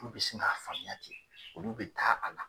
Olu bi sin ka faamuya ten, olu bi taa a la.